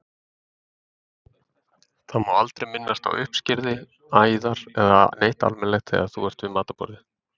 Það má aldrei minnast á uppskurði, æðar eða neitt almennilegt þegar þú ert við matarborðið.